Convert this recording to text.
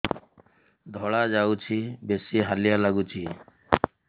ଧଳା ଯାଉଛି ବେଶି ହାଲିଆ ଲାଗୁଚି